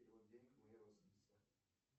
перевод денег моей родственнице